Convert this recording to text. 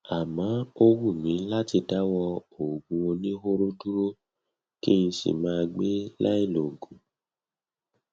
àmọ ó wù mí láti dáwọ òògùn oníhóró dúró kí n sì máa gbé láì lòògùn